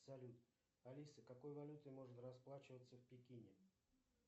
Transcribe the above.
салют алиса какой валютой можно расплачиваться в пекине